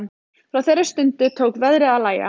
Frá þeirri stundu tók veðrið að lægja.